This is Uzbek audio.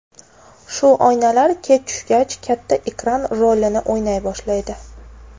Shu oynalar kech tushgach katta ekran rolini o‘ynay boshlaydi.